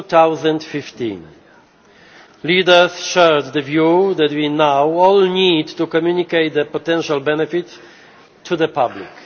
of 2015. Leaders shared the view that we now all need to communicate the potential benefits to the public.